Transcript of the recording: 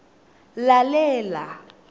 lalela